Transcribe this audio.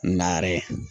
Na yɛrɛ